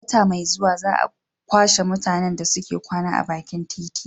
Wata mai zuwa za a kwashe mutanen da suke kwana a bakin titi